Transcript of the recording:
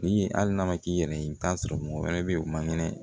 Ni hali n'a ma k'i yɛrɛ ye i bɛ t'a sɔrɔ mɔgɔ wɛrɛ bɛ yen o man kɛnɛ